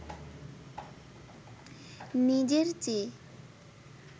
নিজের চেয়ে